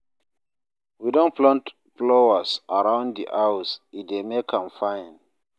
We don plant flowers around di house, e dey make am fine.